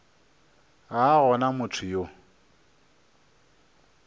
ga a gona motho yo